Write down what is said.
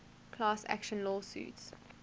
class action lawsuits